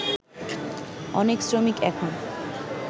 অনেক শ্রমিক এখন